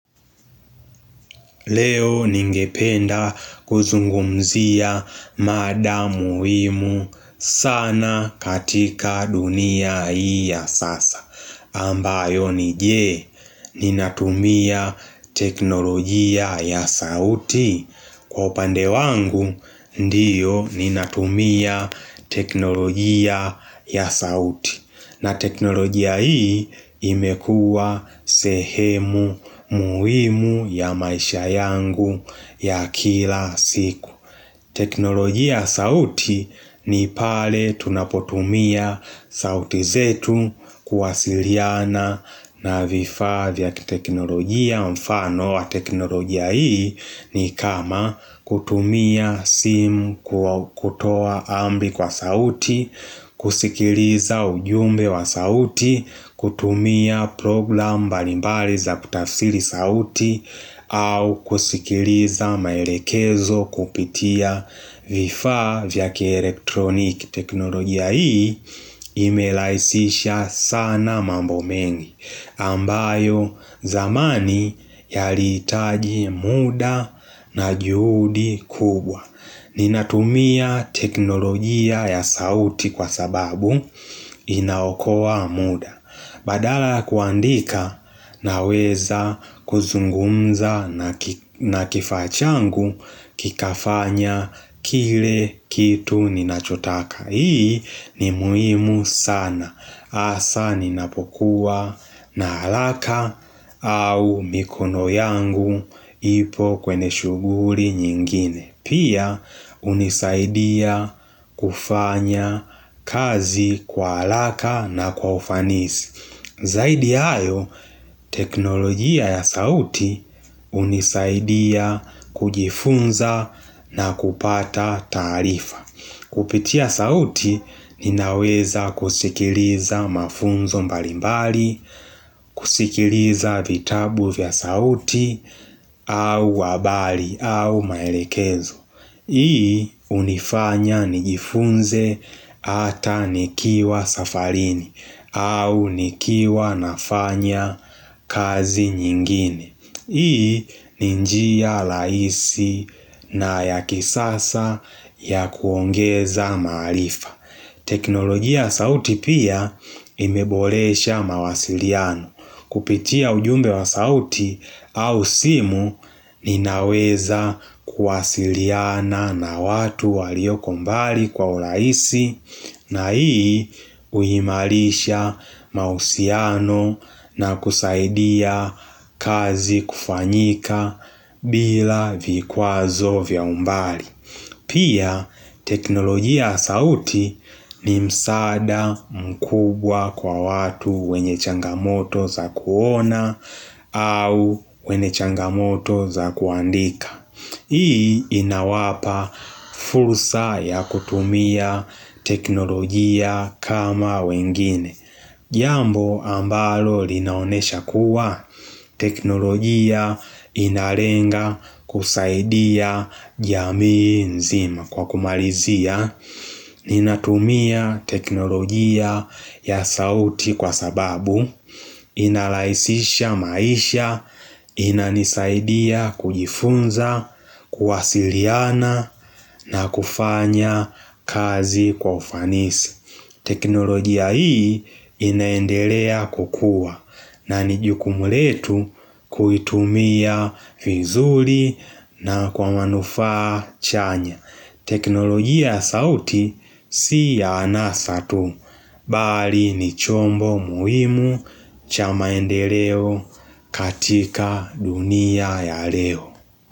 Leo ningependa kuzungumzia mada muhimu sana katika dunia hii sasa. Ambayo ni jee, ninatumia teknolojia ya sauti. Kwa upande wangu, ndiyo ninatumia teknolojia ya sauti. Na teknolojia hii imekua sehemu muhimu ya maisha yangu ya kila siku teknolojia sauti ni pale tunapotumia sauti zetu kuwasiliana na vifaa ya teknolojia mfano wa teknolojia hii ni kama kutumia simu kutoa ambi kwa sauti, kusikiliza ujumbe wa sauti, kutumia program mbalimbali za kutafsiri sauti au kusikiliza maelekezo kupitia vifaa vyake elektroniki. Teknolojia hii imelaisisha sana mambo mengi ambayo zamani yalihitaji muda na juhudi kubwa. Ninatumia teknolojia ya sauti kwa sababu inaokoa muda. Badala ya kuandika naweza kuzungumza na kifaa changu Kikafanya kile kitu ninachotaka. Hii ni muhimu sana hasa ninapokuwa na haraka au mikono yangu ipo kwenye shuguri nyingine. Pia unizaidia kufanya kazi kwa haraka kwa ufanisi Zaidi ya hayo teknolojia ya sauti unisaidia kujifunza na kupata taarifa Kupitia sauti ninaweza kusikiliza mafunzo mbalimbali kusikiliza vitabu vya sauti au wabali au maelekezo Hii unifanya nijifunze ata nikiwa safarini au nikiwa nafanya kazi nyingine. Hii ni njia rahisi na ya kisasa ya kuongeza mahalifa Teknologia sauti pia imeboresha mawasiliano Kupitia ujumbe wa sauti au simu ninaweza kuwasiliana na watu walioko mbali kwa urahisi na hii uhimarisha mausiano na kuzaidia kazi kufanyika bila vikwazo vya umbali Pia teknolojia sauti ni msaada mkubwa kwa watu wenye changamoto za kuona au wenye changamoto za kuandika Hii inawapa fursa ya kutumia teknolojia kama wengine Jambo ambalo linaonesha kuwa teknolojia inalenga kusaidia jamii nzima kwa kumalizia Ninatumia teknolojia ya sauti kwa sababui inalaisisha maisha, inanisaidia kujifunza, kuwasiliana na kufanya kazi kwa ufanisi. Teknolojia hii inaendelea kukua na nijukumu letu kuitumia vizuri na kwa manufaa chanya. Teknolojia sauti si ya anasa tu, bali ni chombo muhimu cha maendeleo katika dunia ya leo.